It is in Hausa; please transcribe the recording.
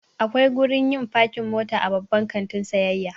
Akwai gurin yin fakin mota a Babban kantin sayayya.